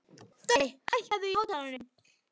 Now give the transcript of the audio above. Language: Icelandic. Dorri, hækkaðu í hátalaranum.